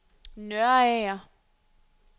Nørager